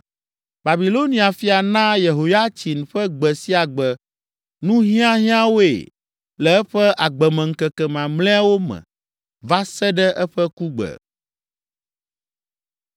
Babilonia fia naa Yehoyatsin ƒe gbe sia gbe nuhiahiãwoe le eƒe agbemeŋkeke mamlɛawo me va se ɖe eƒe kugbe.